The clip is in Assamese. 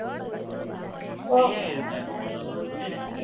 সেইয়াই আৰু সংযম, বুজিলে?